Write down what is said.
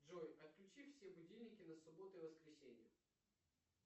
джой отключи все будильники на субботу и воскресенье